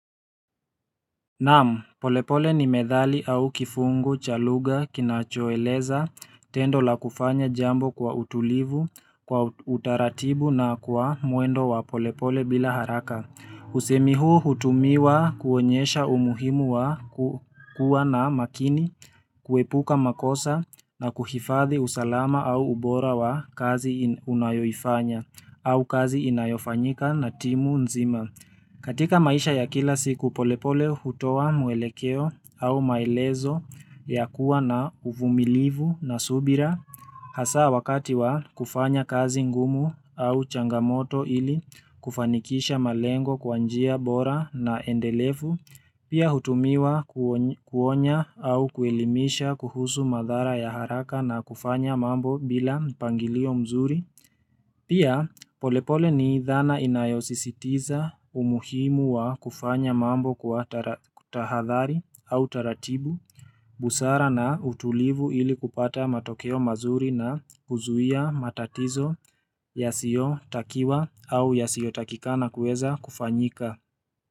Naam, polepole ni methali au kifungu, cha luga, kinachoeleza, tendo la kufanya jambo kwa utulivu, kwa utaratibu na kwa mwendo wa polepole bila haraka usemi huu hutumiwa kuonyesha umuhimu wa kuwa na makini, kuepuka makosa na kuhifadhi usalama au ubora wa kazi unayoifanya au kazi inayofanyika na timu nzima katika maisha ya kila siku polepole hutoa mwelekeo au maelezo ya kuwa na uvumilivu na subira, hasa wakati wa kufanya kazi ngumu au changamoto ili kufanikisha malengo kwa njia bora na endelevu, pia hutumiwa kuonya au kuelimisha kuhusu madhara ya haraka na kufanya mambo bila mpangilio mzuri. Pia polepole ni dhana inayosisitiza umuhimu wa kufanya mambo kwa tahadhari au taratibu, busara na utulivu ili kupata matokeo mazuri na kuzuia matatizo ya sio takiwa au ya sio takikana kueza kufanyika.